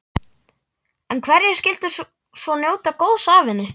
En hverjir skyldu svo njóta góðs af henni?